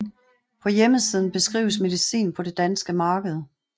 På hjemmesiden beskrives medicin på det danske marked